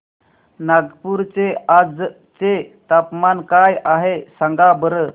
नागपूर चे आज चे तापमान काय आहे सांगा बरं